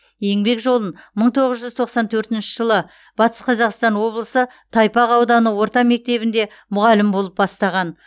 еңбек жолын мың тоғыз жүз тоқсан төртінші жылы батыс қазақстан облысы тайпақ ауданы орта мектебінде мұғалім болып бастаған